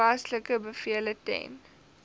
toepaslike bevele ten